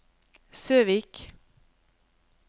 Søvik